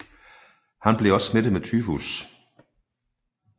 Han blev også smittet med tyfus